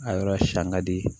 A yɔrɔ siyan ka di